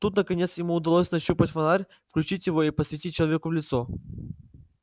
тут наконец ему удалось нащупать фонарь включить его и посветить человеку в лицо